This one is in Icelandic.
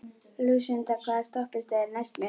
Lúsinda, hvaða stoppistöð er næst mér?